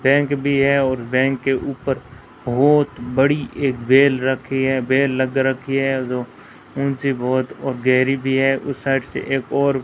bank भी है और बैंक के ऊपर बहोत बड़ी एक बेल रखी है बेल लग रखी है ऊंची बहोत और गहरी भी है उस साइड से एक और --